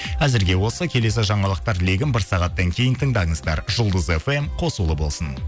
әзірге осы келесі жаңалықтар легін бір сағаттан кейін тыңдаңыздар жұлдыз фм қосулы болсын